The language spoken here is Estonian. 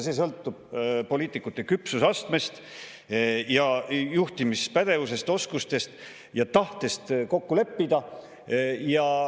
See sõltub poliitikute küpsusastmest ja juhtimispädevusest, oskustest ja tahtest kokku leppida.